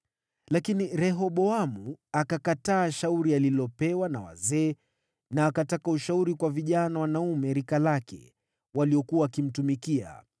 Lakini Rehoboamu akakataa shauri alilopewa na wazee na akataka ushauri kwa vijana wanaume rika lake waliokuwa wakimtumikia.